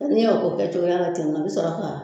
N'i y'o k'o kɛ cogoya la ten dɔrɔn a bɛ sɔrɔ ka